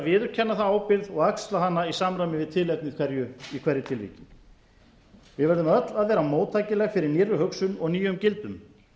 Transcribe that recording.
viðurkenna þá ábyrgð og axla hana í samræmi við tilefni í hverju tilviki við verðum öll að vera móttækileg fyrir nýrri hugsun og nýjum gildum